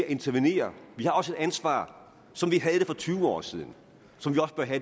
at intervenere vi har også et ansvar som vi havde det for tyve år siden som